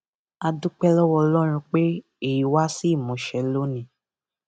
a dúpẹ lọwọ ọlọrun pé èyí wá sí ìmúṣẹ lónìí